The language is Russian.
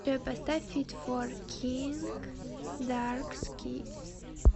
джой поставь фит фор э кинг дарк скис